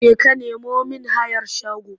Jeka ka nemo mIn hayar shago!